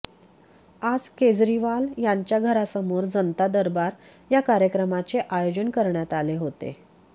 आज केजरीवाल यांच्या घरासमोर जनता दरबार या कार्यक्रमाचे आयोजन करण्यात आले होते